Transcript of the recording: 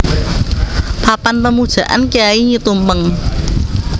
Papan Pemujaan Kyai Nyi Tumpeng